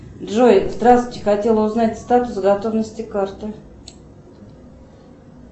джой здравствуйте хотела узнать статус готовности карты